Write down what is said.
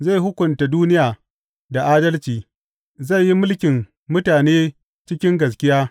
Zai hukunta duniya da adalci; zai yi mulkin mutane cikin gaskiya.